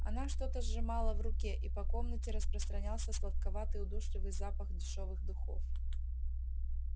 она что-то сжимала в руке и по комнате распространялся сладковатый удушливый запах дешёвых духов